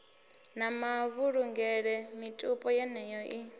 na mavhulungele mitupo yeneyo i